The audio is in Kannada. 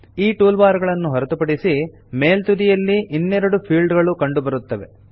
ಈ ಟೂಲ್ ಬಾರ್ ಗಳನ್ನು ಹೊರತುಪಡಿಸಿ ಮೇಲ್ತುದಿಯಲ್ಲಿ ಇನ್ನೆರಡು ಫೀಲ್ಡ್ ಗಳು ಕಂಡುಬರುತ್ತವೆ